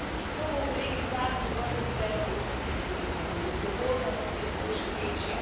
To bo, kolegi, zadnji vrh pred evropskimi volitvami in odgovornost je zato še večja.